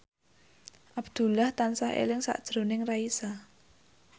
Abdullah tansah eling sakjroning Raisa